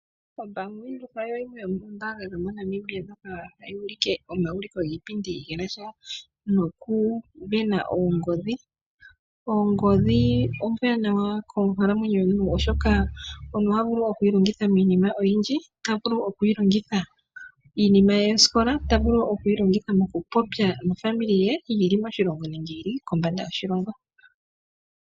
OBank Windhoek oyo yimwe yomoombanga moNamibia ndjoka hayi ulike omauliko giipindi ge na sha nokusindana oongodhi. Ongodhi ombwanawa konkalamwenyo yomuntu oshoka omuntu oha vulu oku yi longitha miinima oyindji. Oha vulu oku yi longitha miinima ye yosikola, ota vulu oku yi longitha okupopya nofamili ye yi li meni lyoshilongo nokombanda yoshilongo.